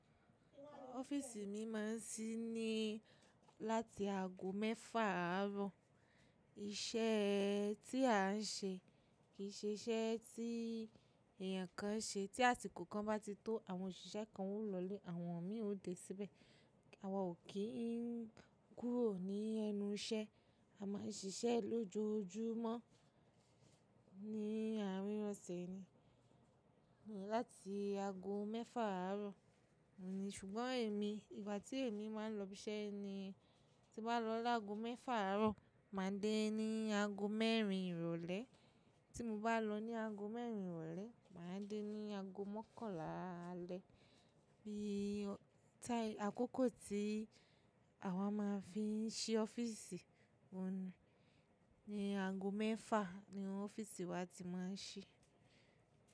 Ọ́fíìsì mi máa ń ṣí ní láti ago mẹ́fà àárọ̀. Iṣẹ́ tí a ń ṣe kì í ṣe iṣẹ́ tí èèyàn kan ṣe tí asikò kan bá ti tó, àwọn òṣìṣẹ́ kan ó lọlé àwọn mi ò dé síbẹ̀. Awa ò kí ń kúrò ní ẹnu iṣẹ́, a máa ń ṣiṣẹ́ lójoojúmọ́ ní àárín ọ̀sẹ̀ ni. Láti ago mẹ́fà àárọ̀, ṣùgbọ́n èmi ìgbà tí èmi máa ń lọ ibi iṣẹ́ ni tí mo bá lọ lágo mẹ́fà àárọ̀, màá dé ní ago mẹ́rin ìrọ̀lẹ́. Tí mo bá lọ ní ago mẹ́rin ìrọ̀lẹ́, màá dé ní ago mọ́kànlá alẹ́. Bí i táì àkókò tí àwa máa ń fi ṣí ọ́fíìsì, ni ago mẹ́fà ni ọ́fíìsì wa ti máa ń ṣí.